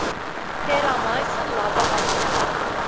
terramycin la behandel